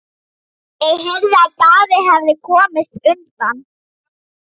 Ég heyrði að Daði hefði komist undan.